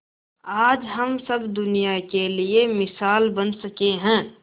आज हम सब दुनिया के लिए मिसाल बन सके है